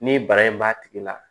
Ni bara in b'a tigi la